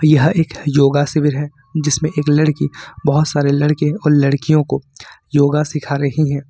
यह एक योगा शिविर है जिसमें एक लड़की बहुत सारे लड़के और लड़कियों को योग सिखा रही हैं।